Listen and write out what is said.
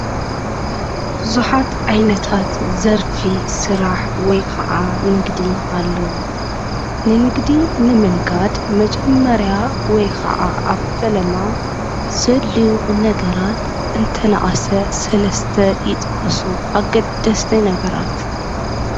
ቡዙሓት ዓይነታት ዘርፊ ስራሕ ወይ ከዓ ንግዲ አለው፡፡ ናይ ንግዲ ንምንጋድ መጀመርያ ወይ ከዓ አብ ፈለማ ዘድልዩ ነገራት እንተነአሰ ሰለስተ ይጥቀሱ፡፡ አገደስቲ ነገራት